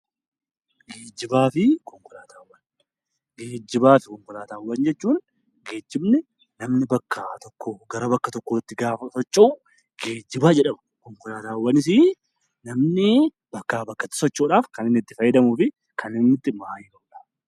Geejjibaa fi konkolaataawwan. Geejjibaa fi konkolaataawwan jechuun geejjibni namni bakka tokkoo gara bakka tokkootti gaafa socho'u geejjibaa jedhama. Konkolaataawwanisii namni bakkaa bakkatti socho'uudhaaf kan inni itti fayyadamuu fi kan inni itti maayii ba'udha.